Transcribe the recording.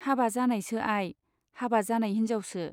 हाबा जानायसो आइ , हाबा जानाय हिन्जावसो।